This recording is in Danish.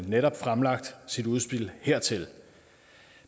netop fremlagt sit udspil hertil